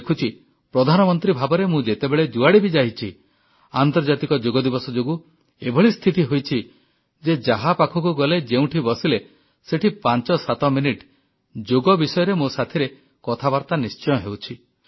ମୁଁ ଦେଖୁଛି ପ୍ରଧାନମନ୍ତ୍ରୀ ଭାବରେ ମୁଁ ଯେତେବେଳେ ଯୁଆଡ଼େ ବି ଯାଇଛି ଆନ୍ତର୍ଜାତିକ ଯୋଗଦିବସ ଯୋଗୁଁ ଏଭଳି ସ୍ଥିତି ହୋଇଛି ଯେ ଯାହା ପାଖକୁ ଗଲେ ଯେଉଁଠି ବସିଲେ ସେଠି ପାଞ୍ଚ ସାତ ମିନିଟ୍ ଯୋଗ ବିଷୟରେ ମୋ ସାଥିରେ କଥାବାର୍ତ୍ତା ନିଶ୍ଚୟ ହେଉଛି